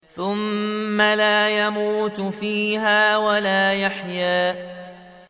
ثُمَّ لَا يَمُوتُ فِيهَا وَلَا يَحْيَىٰ